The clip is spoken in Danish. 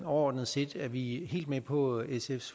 overordnet set er vi helt med på sfs